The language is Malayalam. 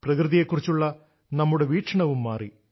പ്രകൃതിയെക്കുറിച്ചുള്ള നമ്മുടെ വീക്ഷണവും മാറി